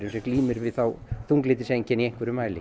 sem glímir við þunglyndiseinkenni í einhverjum mæli